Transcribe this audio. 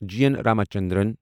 جی اٮ۪ن رامچندرن